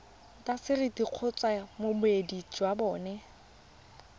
intaseteri kgotsa boemedi jwa bona